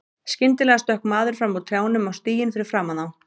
Skyndilega stökk maður fram úr trjánum á stíginn fyrir framan þá.